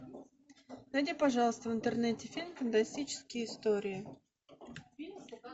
найди пожалуйста в интернете фильм фантастические истории